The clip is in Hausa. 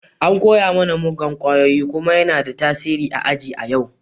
An koya mana muggan kwayoyi kuma yana da tasiri a yau a aji.